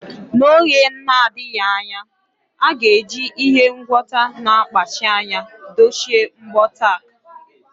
N’oge na-adịghị anya, a ga-eji ihe ngwọta na-akpachi anya dochie mbọ tack.